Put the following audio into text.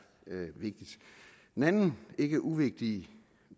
vigtigt en anden ikke uvigtig